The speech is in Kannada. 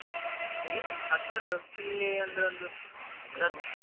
ಇಲ್ಲಾ ಹತ್ತಿರದವ್ರು ಇಲ್ಲಿ ಅಂದ್ರೆ ಒಂದು ಒಂದು ಹತ್ತು.